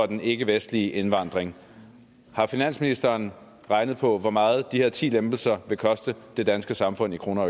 den ikkevestlige indvandring har finansministeren regnet på hvor meget de her ti lempelser koster det danske samfund i kroner